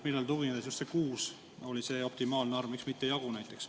Millele tuginedes on just kuus optimaalne arv, miks mitte näiteks jagu?